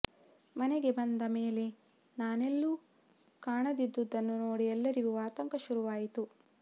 ಮನೆಗೆ ಬಂದ ಮೇಲೆ ನಾನೆಲ್ಲೂ ಕಾಣದಿದ್ದುದನ್ನು ನೋಡಿ ಎಲ್ಲರಿಗೂ ಆತಂಕ ಶುರುವಾಯಿತು